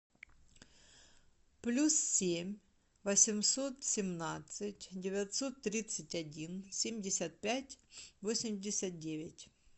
плюс семь восемьсот семнадцать девятьсот тридцать один семьдесят пять восемьдесят девять